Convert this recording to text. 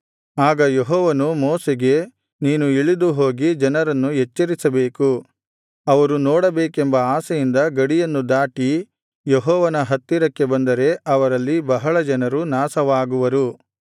ಆಗ ಯೆಹೋವನು ಮೋಶೆಗೆ ನೀನು ಇಳಿದು ಹೋಗಿ ಜನರನ್ನು ಎಚ್ಚರಿಸಬೇಕು ಅವರು ನೋಡಬೇಕೆಂಬ ಆಶೆಯಿಂದ ಗಡಿಯನ್ನು ದಾಟಿ ಯೆಹೋವನ ಹತ್ತಿರಕ್ಕೆ ಬಂದರೆ ಅವರಲ್ಲಿ ಬಹಳ ಜನರು ನಾಶವಾಗುವರು